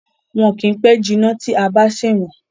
Wọn kì í pẹ́ jinná tí a bá ń ṣe wón.